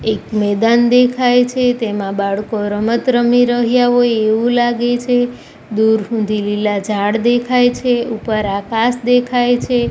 એક મેદાન દેખાય છે તેમાં બાળકો રમત રમી રહ્યા હોય એવું લાગે છે દૂર સુધી લીલા ઝાડ દેખાય છે ઉપર આકાશ દેખાય છે.